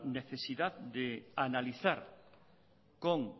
necesidad de analizar con